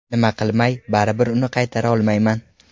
Nima qilmay, baribir uni qaytara olmayman.